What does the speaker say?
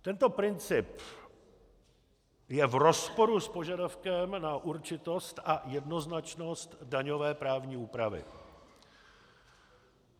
Tento princip je v rozporu s požadavkem na určitost a jednoznačnost daňové právní úpravy.